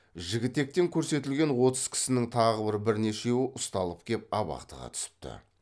жігітектен көрсетілген отыз кісінің тағы бірнешеуі ұсталып кеп абақтыға түсіпті